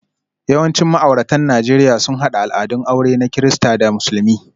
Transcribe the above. Yawancin ma'auratan Najeriya sun haɗa al'adun aure na Kirista da Musulmi,